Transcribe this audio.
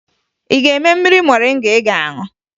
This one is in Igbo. Ị ga-eme mmiri moringa ị ga-aṅụ?